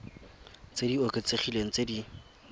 tse di oketsegileng tse di